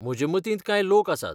म्हजे मतींत कांय लोक आसात.